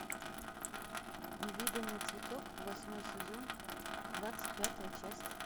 невиданный цветок восьмой сезон двадцать пятая часть